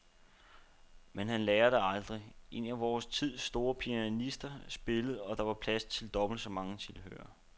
Men han lærer det aldrig. En af vor tids store pianister spillede, og der var plads til dobbelt så mange tilhørere.